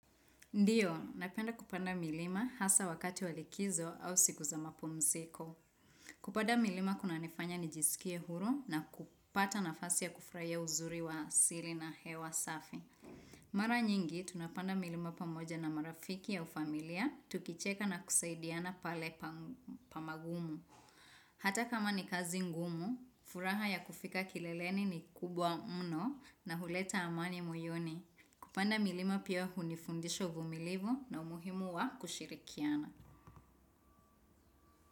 Ndiyo, napenda kupanda milima hasa wakati wa likizo au siku za mapumsiko. Kupanda milima kuna nifanya nijisikie huru na kupata nafasi ya kufraia uzuri wa siri na hewa safi. Mara nyingi, tunapanda milima pamoja na marafiki au familia, tukicheka na kusaidiana pale pamagumu. Hata kama ni kazi ngumu, furaha ya kufika kileleni ni kubwa mno na huleta amani moyoni. Kupanda milima pia hunifundisho uvumilivu na umuhimu wa kushirikiana.